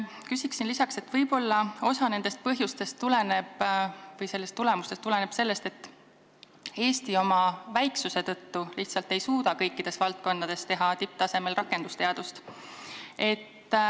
Ütleksin, et võib-olla osa sellest tulemustest tuleneb sellest, et Eesti oma väiksuse tõttu lihtsalt ei suuda kõikides valdkondades teha tipptasemel rakendusteadust.